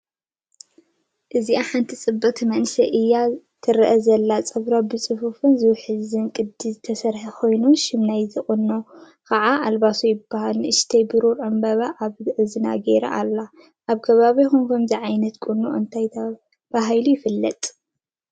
እዚ ሓንቲ ጽብቕቲ መንእሰይ እያ ትረአ ዘላ። ጸጉራ ብጽፉፍን ዝውሕዝን ቅዲ ዝተሰርሐ ኮይኑ፡ ሽም ናይቲ ቁናኖኣ ከዓ ኣልባሶ ይባሃል። ንእሽቶ ብሩር ዕምባባ ኣብ እዝና ገይራ ኣላ። ኣብ ከባቢኩም ከምዚ ዓይነት ቁናኖ እንታይ እንዳተባሃለ ይፍለጥ?